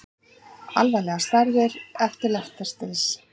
Alvarlega særðir eftir lestarslys